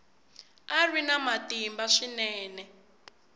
a ri na matimba swinene